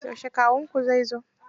Yaushe kawunku zai zo?